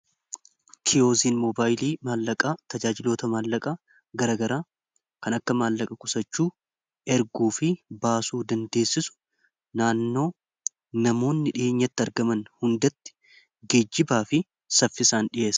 Kiyozin mobaayilii maallaqaa tajaajiloota maallaqaa garagaraa kan akka maallaqa qusachuu, erguu fi baasuu dandeessisu naannoo namoonni dhiheenyatti argaman hundatti geejjibaa fi saffisaan dhi'eesa.